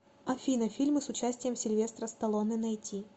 афина фильмы с участием сильвестра сталлоне найти